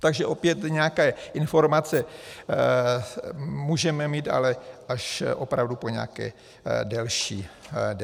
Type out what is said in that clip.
Takže opět nějaké informace můžeme mít, ale až opravdu po nějaké delší době.